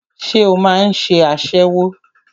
Ṣé o máà ń ṣe aṣẹ́wó?